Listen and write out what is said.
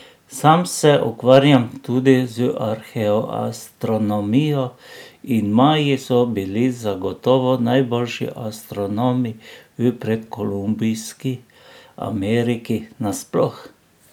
Sam se ukvarjam tudi z arheoastronomijo in Maji so bili zagotovo najboljši astronomi v predkolumbovski Ameriki nasploh.